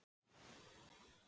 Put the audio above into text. í þessu máli.